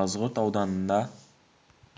қазығұрт ауданында